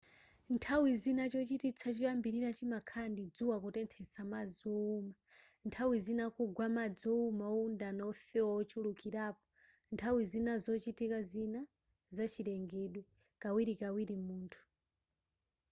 nthawi zina chochititsa choyambirira chimakhala ndi dzuwa kutenthetsa madzi owuma nthawi zina kugwa madzi owuma owundana wofewa ochulukirapo nthawi zina zochitika zina za chilengedwe kawirikawiri munthu